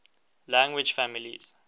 language families